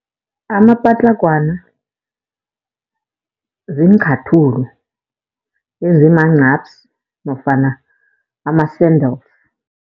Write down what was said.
Amapatlagwana ziinchathulo ezimanqapsi nofana ama-sandals.